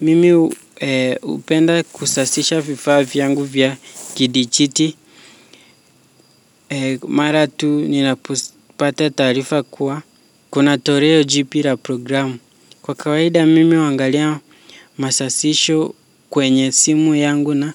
Mimi hupenda kusasisha vifaa vyangu vya kidijiti. Mara tu ninapopata taarifa kuwa kuna toleo jipya la programu. Kwa kawaida mimi huangalia masasisho kwenye simu yangu na